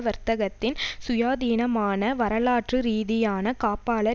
வர்த்தத்தின் சுயாதீனமான வரலாற்றுரீதியான காப்பாளர்